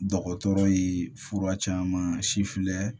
Dɔgɔtɔrɔ ye fura caman si filɛ